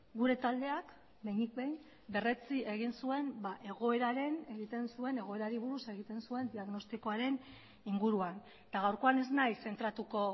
gure taldean behinik behin berretsi egin zuen egoerari buruz egiten zuen diagnostikoaren inguruan gaurkoan ez naiz zentratuko